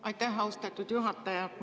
Aitäh, austatud juhataja!